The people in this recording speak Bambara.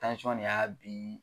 nin y'a biin